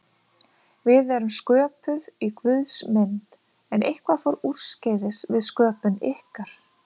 Við erum sköpuð í Guðs mynd, en eitthvað fór úrskeiðis við sköpun ykkar.